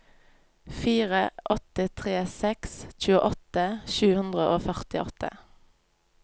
fire åtte tre seks tjueåtte sju hundre og førtiåtte